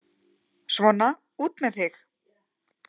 Svona, út með þig!